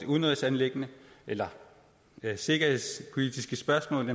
udenrigsanliggender eller sikkerhedspolitiske spørgsmål